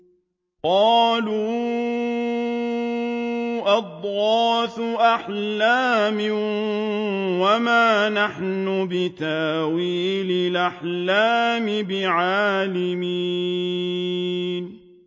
قَالُوا أَضْغَاثُ أَحْلَامٍ ۖ وَمَا نَحْنُ بِتَأْوِيلِ الْأَحْلَامِ بِعَالِمِينَ